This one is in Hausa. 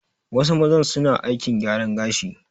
Wasu mazan su na aikin gyaran gashi